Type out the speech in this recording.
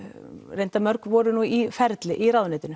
reyndar mörg voru í ferli í ráðuneytinu